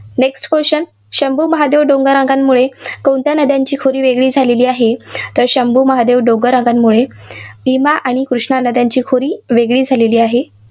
Next question Shambhu Mahadev डोंगररांगामुळे कोणत्या नद्यांची खोरी वेगळी झालेली आहेत. तर शंभू महादेव डोंगर रांगामुळे भीमा आणि कृष्णा नद्यांची खोरी वेगेळी झालेली आहे.